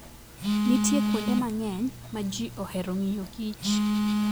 Nitie kuonde mang'eny ma ji ohero ng'iyo kich.